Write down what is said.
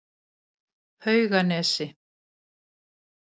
Hauganesi